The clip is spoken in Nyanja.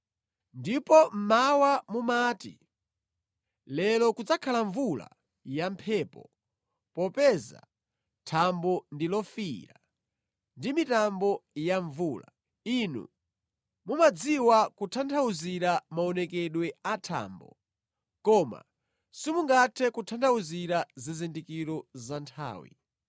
Ndipo mmawa mumati, ‘Lero kudzakhala mvula yamphepo popeza thambo ndi lofiira ndi mitambo ya mvula.’ Inu mumadziwa kutanthauzira maonekedwe a thambo koma simungathe kutanthauzira zizindikiro za nthawi.